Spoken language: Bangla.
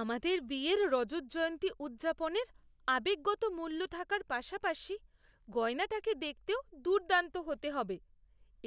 আমাদের বিয়ের রজত জয়ন্তী উদযাপনের আবেগগত মূল্য থাকার পাশাপাশি গয়নাটাকে দেখতেও দুর্দান্ত হতে হবে,